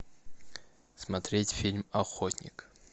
смотреть фильм охотник